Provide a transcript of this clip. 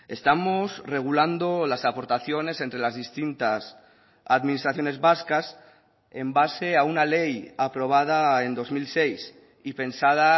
estamos regulando las aportaciones entre las distintas administraciones vascas en base a una ley aprobada en dos mil seis y pensada